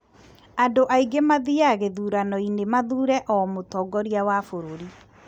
andũ aingĩ mathiaga gĩthurano-inĩ mathuure o mũtongoria wa bũrũri